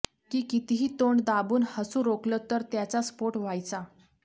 की कितीही तोंड दाबून हासू रोखलं तर त्याचा स्फोट व्हायचा